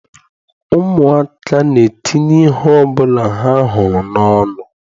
Ụmụaka na-etinye ihe ọbụla ha hụrụ n'ọnụ.